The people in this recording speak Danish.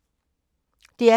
DR P2